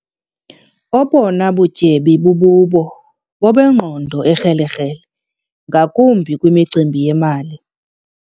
Obona butyebi bububo bobengqondo ekrelekrele ngakumbi kwimicimbi yemali.